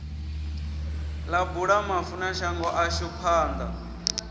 ḽa bula vhafunashango ḽashu panḓa